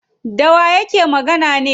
Dawa yake magana ne?